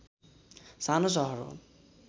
सानो सहर हो